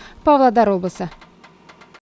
павлодар облысы